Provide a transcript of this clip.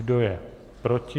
Kdo je proti?